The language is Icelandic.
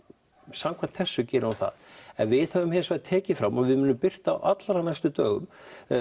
samkvæmt þessu gerir hún það en við höfum hins vegar tekið fram og við munum birta á allra næstu dögum